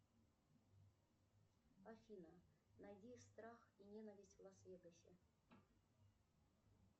афина найди страх и ненависть в лас вегасе